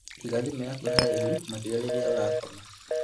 Iga thimũ yaku haraihu makĩria rĩrĩa ũrakoma